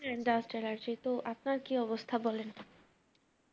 Dust allergy তো আপনার কি অবস্থা বলেন?